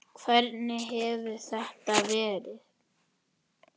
Hvernig hefur þetta verið?